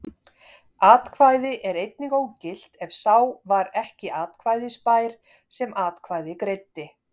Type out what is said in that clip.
Atkvæði er einnig ógilt ef sá var ekki atkvæðisbær sem atkvæði greiddi.